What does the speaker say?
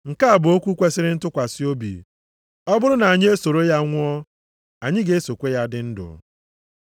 Nke a bụ okwu kwesiri ntụkwasị obi: Ọ bụrụ na anyị esoro ya nwụọ, anyị ga-esokwa ya dị ndụ.